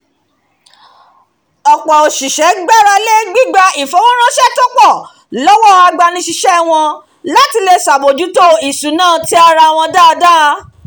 ọ̀pọ̀ òṣìṣẹ́ gbarale gbígba ifowóránṣẹ́ to pọ̀ lọ́wọ́ agbanisíṣẹ́ wọn láti lè ṣàbójútó ìṣúná ti ara wọn dáadáa